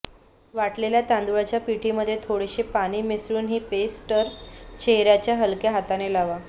वाटलेल्या तांदुळाच्या पिठीमध्ये थोडेसे पाणी मिसळून ही पेस्टर चेहऱ्यावर हलक्या हाताने लावा